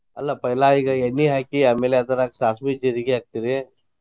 ಅಲ್ಲ पैला ಈಗ ಎಣ್ಣಿ ಹಾಕಿ ಆಮೇಲೆ ಅದ್ರಾಗ ಸಾಸಿವಿ, ಜೀರಗಿ ಹಾಕ್ತೀರಿ.